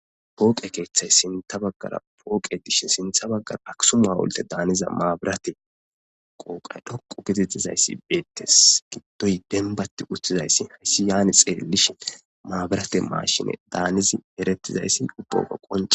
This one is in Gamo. Pooqe keeththay sintha baggara pooqe dishe sintha baggara aksu ma'olte daaniza maabirate qooqay dhoqu getettizayssi beettes giddoy denbatti uttizayssi hayssi yaani xeellishi maabirate maashine daanizi erettizayssi ubbaga qonce